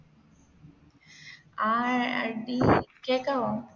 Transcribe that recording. ആ അടി കേക്കാവോ